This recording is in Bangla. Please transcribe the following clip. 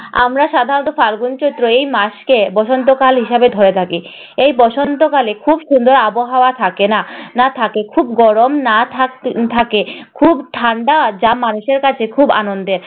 আমরা সাধারণত ফাল্গুন-চৈত্র এই মাসকে বসন্তকাল হিসেবে ধরে থাকি। এই বসন্তকালে খুব সুন্দর আবহাওয়া থাকে। না না থাকে খুব গরম না থাক~ থাকে খুব ঠান্ডা। যা মানুষের কাছে খুব আনন্দের।